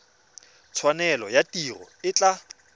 tshwanelo ya tiro e tla